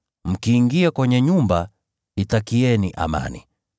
Mkiingia kwenye nyumba, itakieni amani.